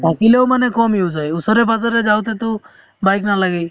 থাকিলেও মানে কম use হয় ওচৰে পাচৰে যাওতেতো bike নালাগে